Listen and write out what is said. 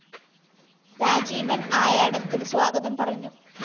രാജീവന്‍ ആയാടത്തില്‍ സ്വാഗതം പറഞ്ഞു